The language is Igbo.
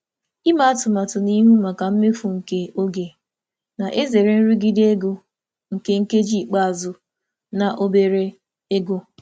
Ịhazi n'ihu maka mmefu oge nke na-egbochi nrụgide ego nke ikpeazụ um na ego dị ntakịrị.